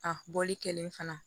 A bɔli kɛlen fana